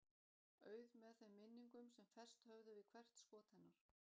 Auð með þeim minningum sem fest höfðu við hvert skot hennar.